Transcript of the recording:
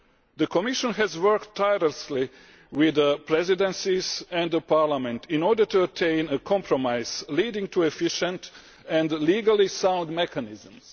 The Commission has worked tirelessly with the presidencies and Parliament in order to obtain a compromise leading to efficient and legally sound mechanisms.